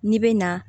N'i bɛ na